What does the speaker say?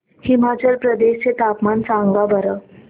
हिमाचल प्रदेश चे तापमान सांगा बरं